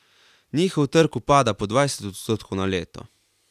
Njihov trg upada po dvajset odstotkov na leto.